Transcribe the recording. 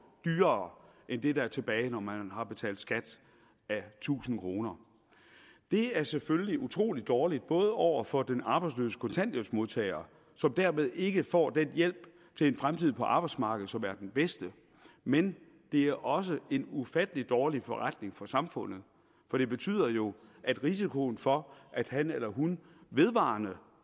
dyrere end det der er tilbage når man har betalt skat af tusind kroner det er selvfølgelig utrolig dårligt over for den arbejdsløse kontanthjælpsmodtager som dermed ikke får den hjælp til en fremtid på arbejdsmarkedet som er den bedste men det er også en ufattelig dårlig forretning for samfundet for det betyder jo at risikoen for at han eller hun vedvarende